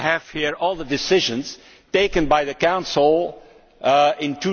I have here all the decisions taken by the Council in